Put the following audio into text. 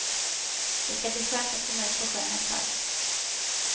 Det ska bli skönt att komma ut på sjön ett tag.